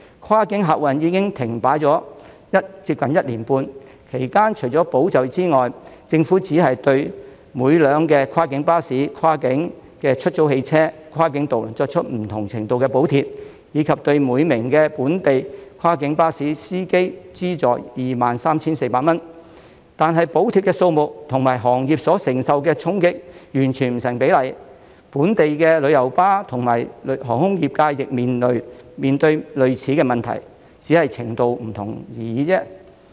跨境客運已經停擺接近1年半，其間除了保就業之外，政府只是對每輛跨境巴士、跨境出租汽車、跨境渡輪作出不同程度的補貼，以及對每名本地跨境巴士司機資助 23,400 元，但補貼的數目與行業所承受的衝擊完全不成比例，本地的旅遊巴和航空業亦面對類似的問題，只是程度不同而已。